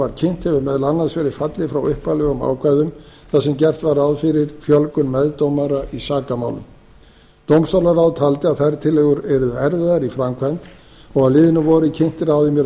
var kynnt hefur meðal annars verið fallið frá upphaflegum ákvæðum þar sem gert var ráð fyrir fjölgun meðdómara í sakamálum dómstólaráð taldi að þær tillögur yrðu erfiðar í framkvæmd og á liðnu vori kynnti ráðuneytið hugmyndir um